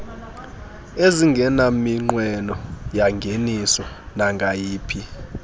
ezingenaminqweno yangeniso nangayiphi